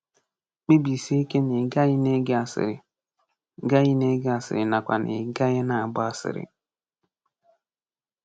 Kpebisie ike na ị gaghị na-ege asịrị gaghị na-ege asịrị nakwa na ị gaghị na-agba asịrị.